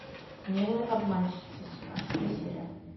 милые обманщицы семнадцатая серия